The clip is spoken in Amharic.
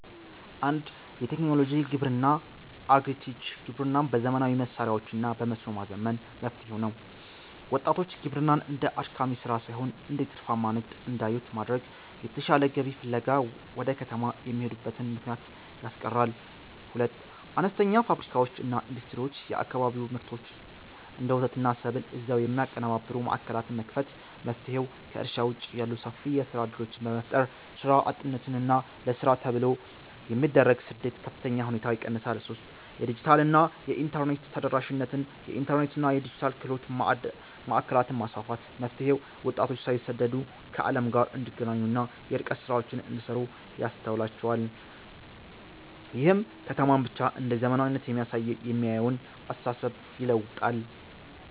1. የቴክኖሎጂ ግብርና (Agri-Tech) ግብርናን በዘመናዊ መሣሪያዎችና በመስኖ ማዘመን። መፍትሔው፦ ወጣቶች ግብርናን እንደ አድካሚ ሥራ ሳይሆን እንደ ትርፋማ ንግድ እንዲያዩት በማድረግ፣ የተሻለ ገቢ ፍለጋ ወደ ከተማ የሚሄዱበትን ምክንያት ያስቀራል። 2. አነስተኛ ፋብሪካዎችና ኢንዱስትሪዎች የአካባቢውን ምርቶች (እንደ ወተትና ሰብል) እዚያው የሚያቀነባብሩ ማዕከላትን መክፈት። መፍትሔው፦ ከእርሻ ውጭ ያሉ ሰፊ የሥራ ዕድሎችን በመፍጠር፣ ሥራ አጥነትንና ለሥራ ተብሎ የሚደረግን ስደት በከፍተኛ ሁኔታ ይቀንሳል። 3. የዲጂታልና የኢንተርኔት ተደራሽነት የኢንተርኔትና የዲጂታል ክህሎት ማዕከላትን ማስፋፋት። መፍትሔው፦ ወጣቶች ሳይሰደዱ ከዓለም ጋር እንዲገናኙና የርቀት ሥራዎችን እንዲሠሩ ያስችላቸዋል። ይህም ከተማን ብቻ እንደ "ዘመናዊነት" የሚያየውን አስተሳሰብ ይለውጣል።